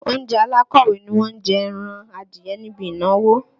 Oúnjẹ alákọ̀wé ni wọ́n jẹ ẹran adìẹ níbi ìnáwó